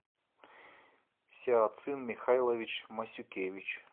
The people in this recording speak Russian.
сяоцин михайлович масюкевич